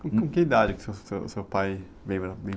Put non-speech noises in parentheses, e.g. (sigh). Com que idade que o seu, seu, seu pai veio? (unintelligible)